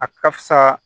A ka fisa